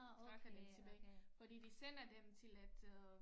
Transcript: Trække den tilbage fordi de sender den til et øh